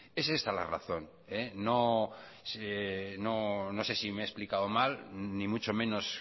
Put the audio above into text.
es esta la razón no sé si me he explicado mal ni mucho menos